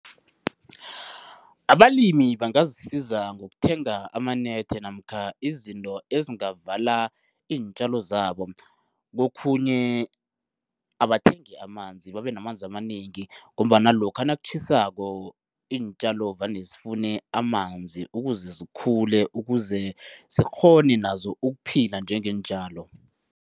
Abalimi bangazisiza ngokuthenga amanethe namkha izinto ezingavala iintjalo zabo. Kokhunye abathengi amanzi, babenamanzi amanengi ngombana lokha nakutjhisako, iintjalo vane sifune amanzi ukuze zikhule, ukuze zikghone nazo ukuphila njengeentjalo.